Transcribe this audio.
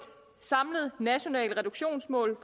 samlet nationalt reduktionsmål